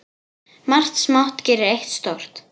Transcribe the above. Margt smátt gerir eitt stórt.